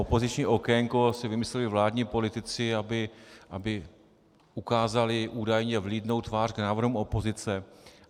Opoziční okénko si vymysleli vládní politici, aby ukázali údajně vlídnou tvář k návrhům opozice.